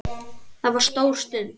Það var stór stund.